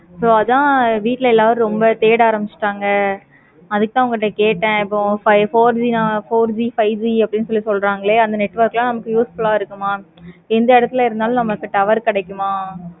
so அதான் வீட்டுல எல்லாரும் ரொம்ப தேட ஆரம்பிச்சிட்டாங்க. அதுக்கு தான் அவங்கிட்ட கேட்டான். four G five G சொல்றாங்களா. அந்த network லாம் useful ஆஹ் இருக்குமா? இந்த இடத்துல இருந்தாலும் நமக்கு tower கிடைக்குமா?